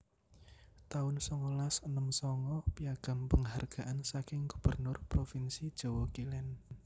taun songolas enem sanga Piagam Penghargaan saking Gubernur Provinsi Jawa Kilen